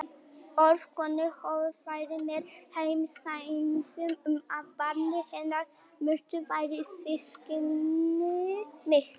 Orð konunnar höfðu fært mér heim sanninn um að barnið hennar Mörtu væri systkini mitt.